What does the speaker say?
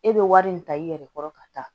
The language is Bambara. E bɛ wari min ta i yɛrɛ kɔrɔ ka taa